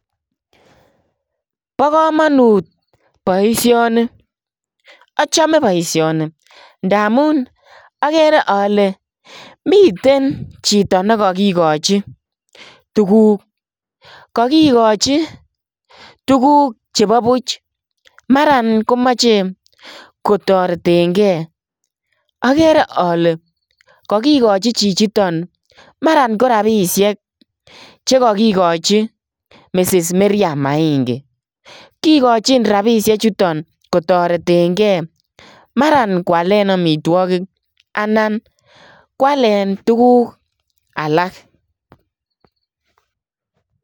Bo kamanut boisioni, achame boisioni ndamuun agere ale miten chitoo nekagigochi tuguuk, kagigochii tuguuk che buuch maraan komache kotareteen gei agere ale kagigochii chichitoon maraan ko rapisheek che kagigochii ,Mrs mirriam maingi kigochiin rapisheek chutoon kotareteen gei maran kwaleen amitwagiik anan kwaleen tuguuk alaak.